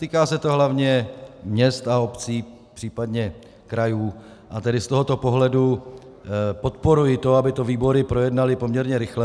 Týká se to hlavně měst a obcí, případně krajů, a tedy z tohoto pohledu podporuji to, aby to výbory projednaly poměrně rychle.